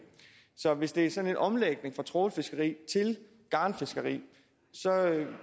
så hvis det er sådan en omlægning fra trawlfiskeri til garnfiskeri så